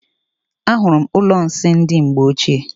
Ahụrụ m ụlọ nsị ndị mgbe ochie.